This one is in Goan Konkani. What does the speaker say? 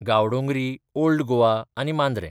गांवडोंगरी, ओल्ड गोवा आनी मांद्रे.